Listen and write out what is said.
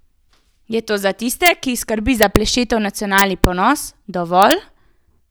Je to za tiste, ki jih skrbi za Plešetov nacionalni ponos, dovolj?